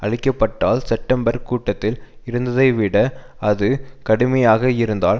அளிக்கப்பட்டால் September கூட்டத்தில் இருந்ததைவிட அது கடுமையாக இருந்தால்